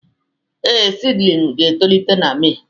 Ee, seedlings ga-etolite na Mee